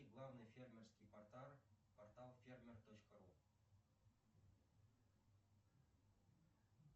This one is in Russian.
главный фермерский портал фермер точка ру